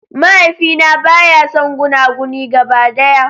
Mahaifina baya son gunaguni gaba daya.